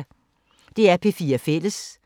DR P4 Fælles